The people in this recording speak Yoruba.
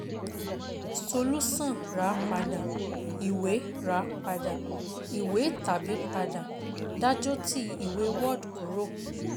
Solusan Ra pada iwe Ra pada iwe TABI PADA DAJOTI IWE WARD KURO